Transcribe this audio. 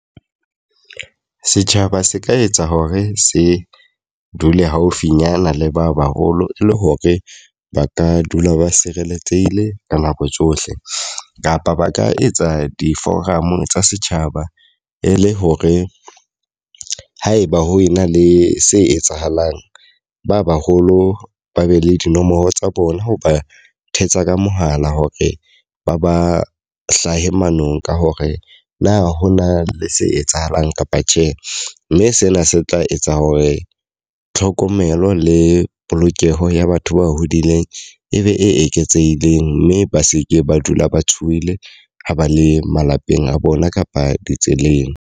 Setjhaba se ka etsa hore se dule haufinyana le ba ba holo, e le hore ba ka dula ba sireletsehile ka nako tsohle. Kapa ba ka etsa di-forum tsa setjhaba e le hore haeba ho ena le se etsahalang, ba ba holo ba be le dinomoro tsa bona ho ba thetsa ka mohala hore ba ba hlahe manong ka hore na hona le se etsahalang ka kapa tjhe. Mme sena se tla etsa hore tlhokomelo le polokeho ya batho ba hodileng e be e eketsehileng mme ba seke ba dula ba tshohile ha ba le malapeng a bona kapa ditseleng.